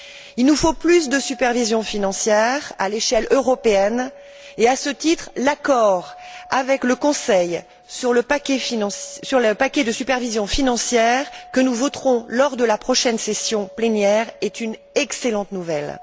Il nous faut plus de supervision financière à l'échelle européenne et, à ce titre, l'accord avec le Conseil sur le paquet de supervision financière, que nous voterons lors de la prochaine session plénière, est une excellente nouvelle.